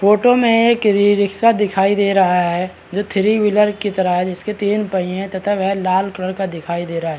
Photo में एक e rickshaw दिखाई दे रहा है जो थ्री व्हीलर के तरह है जिसके तीन पहिए है तथा वह लाल कलर का दिखाई दे रहा है ।